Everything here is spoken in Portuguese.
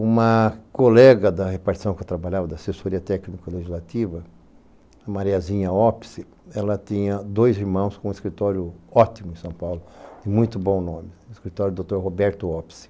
Uma colega da repartição que eu trabalhava, da assessoria técnico-legislativa, a Mariazinha Opsi, ela tinha dois irmãos com um escritório ótimo em São Paulo, de muito bom nome, o escritório doutor Roberto Opsi.